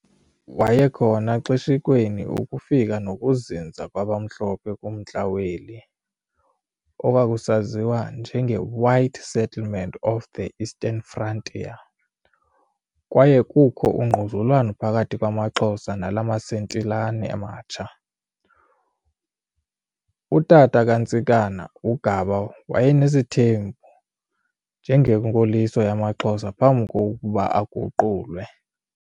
Wayekhona xeshikweni ukufika nokuzinza kwabamhlophe kumntla weli "White settlement of the Eastern Frontier," kwaye kukho ungquzulwano phakathi kwamaXhosa nalamasetilane matsha. Utata kaNtsikana, uGaba wayenesithembu njengenkoliso yamaXhosa phambi kokuba aguqulwe, Bokwe 1914, 4.